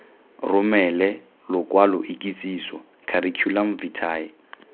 romele lokwalo ikitsiso curriculum vitae